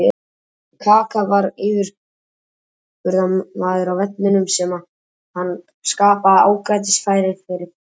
Kaka var yfirburðamaður á vellinum þar sem hann skapaði ágætis færi fyrir félaga sína.